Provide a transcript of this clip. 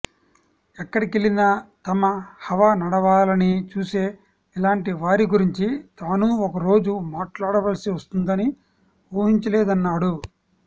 ఎక్కడికెళ్లినా తమ హవా నడవాలని చూసే ఇలాంటి వారి గురించి తానూ ఒక రోజు మాట్లాడవలసి వస్తుందని ఊహించలేదన్నాడు